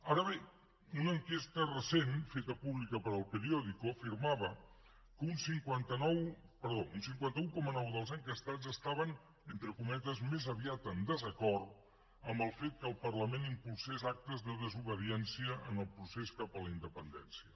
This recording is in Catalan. ara bé una enquesta recent feta pública per el periódico afirmava que un cinquanta un coma nou dels enquestats estaven entre cometes més aviat en desacord amb el fet que el parlament impulsés actes de desobediència en el procés cap a la independència